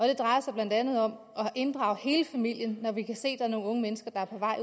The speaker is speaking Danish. det drejer sig blandt andet om at inddrage hele familien når vi kan se er nogle unge mennesker der er på vej